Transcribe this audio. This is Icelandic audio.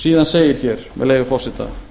síðan segir hér með leyfi forseta